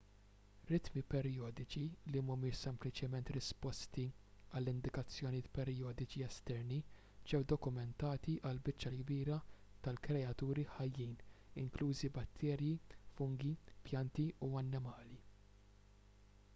ritmi perjodiċi li mhumiex sempliċement risposti għal indikazzjonijiet perjodiċi esterni ġew dokumentati għall-biċċa l-kbira tal-kreaturi ħajjin inklużi batterji fungi pjanti u annimali